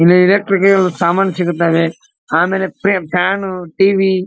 ಇಲ್ಲಿ ಇಲೆಕ್ಟ್ರಿಕಲ್ ಸಾಮಾನ್ ಸಿಗುತ್ತವೆ ಆಮೇಲೆ ಫ್ಯಾನ್ ಟಿ.ವಿ .